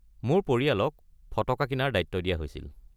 মোৰ পৰিয়ালক ফটকা কিনাৰ দায়িত্ব দিয়া হৈছিল।